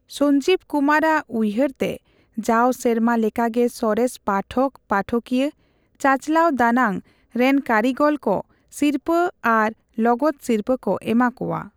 ᱥᱚᱧᱡᱤᱵ ᱠᱩᱢᱟᱨ ᱟᱜ ᱩᱭᱦᱟᱹᱮ ᱛᱮ ᱡᱟᱣ ᱥᱮᱨᱢᱟ ᱞᱮᱠᱟᱜᱮ ᱥᱚᱨᱮᱥ ᱯᱟᱴᱷᱚᱠ, ᱯᱟᱴᱷᱚᱠᱤᱭᱟ, ᱪᱟᱪᱞᱟᱣ ᱫᱟᱱᱟᱝ ᱨᱮᱱᱠᱟᱹᱨᱤᱜᱚᱞ ᱠᱚ ᱥᱤᱨᱯᱟᱹ ᱟᱨ ᱞᱚᱜᱚᱫ ᱥᱤᱨᱯᱟᱹ ᱠᱚ ᱮᱢᱟ ᱠᱚᱣᱟ ᱾